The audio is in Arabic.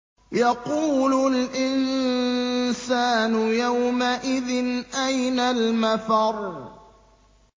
يَقُولُ الْإِنسَانُ يَوْمَئِذٍ أَيْنَ الْمَفَرُّ